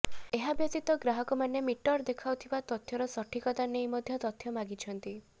ଏହାବ୍ୟତୀତ ଗ୍ରାହକମାନେ ମିଟର ଦେଖାଉଥିବା ତଥ୍ୟର ସଠିକତା ନେଇ ମଧ୍ୟ ତଥ୍ୟ ମାଗିଛନ୍ତି